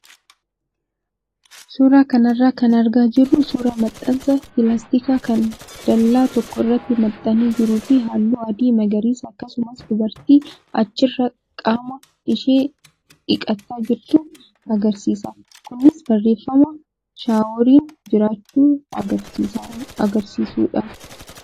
Suuraa kanarraa kan argaa jirru suuraa maxxansa pilaastikaa kan dallaa tokko irratti maxxanee jiruu fi halluu adii, magariisa akkasumas dubartii achirraa qaama ishee dhiqataa jirtu agarsiisa. Kunis barreeffama shaaworiin jiraachuu agarsiisudha.